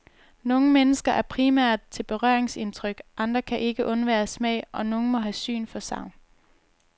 Nogle mennesker er primært til berøringsindtryk, andre kan ikke undvære smag og nogle må have syn for sagn.